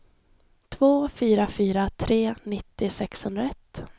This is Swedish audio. två fyra fyra tre nittio sexhundraett